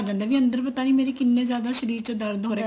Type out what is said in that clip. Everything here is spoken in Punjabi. ਅੰਦਰ ਪਤਾ ਨੀ ਮੇਰੇ ਕਿੰਨੇ ਜਿਆਦਾ ਸ਼ਰੀਰ ਚ ਦਰਦ ਹੋ ਰਿਹਾ